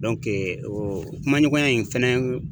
o kuma ɲɔgɔnya in fɛnɛ